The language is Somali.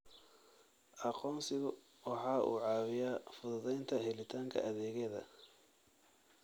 Aqoonsigu waxa uu caawiyaa fududaynta helitaanka adeegyada.